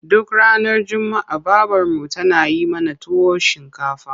Duk ranar juma'a babarmu tana yi mana tuwon shinkafa.